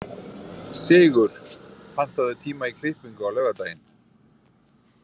Sigur, pantaðu tíma í klippingu á laugardaginn.